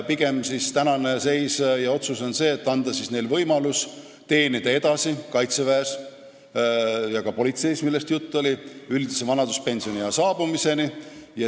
Pigem on tänane seis ja otsus see, et tuleks anda neile võimalus teenida edasi kaitseväes ja ka politseis üldise vanaduspensioniea saabumiseni.